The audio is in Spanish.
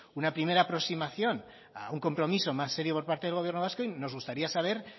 una primera aproximación a un compromiso más serio por parte del gobierno vasco y nos gustaría saber